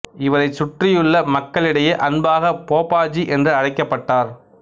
இவரைச் சுற்றியுள்ள மக்களிடையே அன்பாக போப்பா ஜி என்று அழைக்கப்பட்டார்